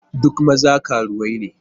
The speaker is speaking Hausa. Duk maza karuwai ne.